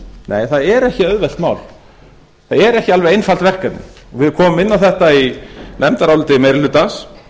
nei það er ekki auðvelt mál það er ekki alveg einfalt verkefni við komum inn á þetta í nefndaráliti meiri hlutans